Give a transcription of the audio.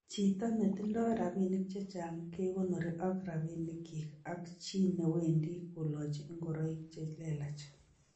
Chito netindo rabinik chechang' kegonori ak rabinik kyik ak chi newendi kolochi ingoroik c helelach.